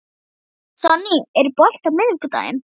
Sonný, er bolti á miðvikudaginn?